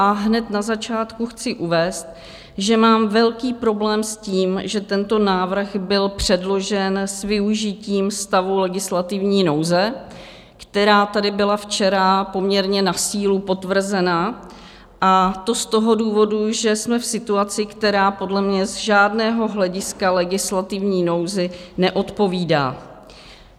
A hned na začátku chci uvést, že mám velký problém s tím, že tento návrh byl předložen s využitím stavu legislativní nouze, která tady byla včera poměrně na sílu potvrzena, a to z toho důvodu, že jsme v situaci, která podle mě z žádného hlediska legislativní nouzi neodpovídá.